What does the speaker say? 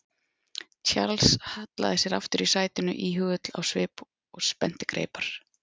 Charles hallaði sér aftur í sætinu íhugull á svip og spennti greipar.